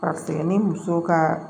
Ka segin ni muso ka